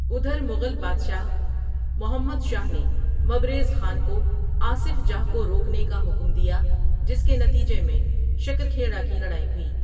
ادھر مغل بادشاہ محمد شاہ نے مبریز خان کو آصف جاہ کو روکنے کا حکم دیا جس کے نتیجہ میں شکر کھیڑا کی لڑائی ہوئی ۔